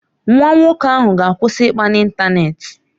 Nwa nwoke ahụ ga-akwụsị ịkpa n'ịntanetị.